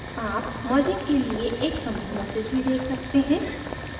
आप merging के लिए एक commit message भी देख सकते हैं